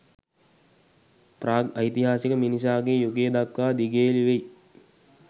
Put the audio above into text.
ප්‍රාග් ඓතිහාසික මිනිසාගේ යුගය දක්වා දිගේලි වෙයි.